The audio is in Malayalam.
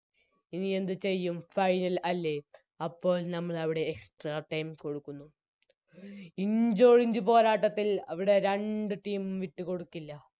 ഇനി എന്ത് ചെയ്യും Final അല്ലെ അപ്പോൾ ഞമ്മൾ അവിടെ Extra time കൊടുക്കുന്നു ഇഞ്ചോടിഞ്ച് പോരാട്ടത്തിൽ അവിടെ രണ്ട് Team വിട്ടുകൊടുക്കില്ല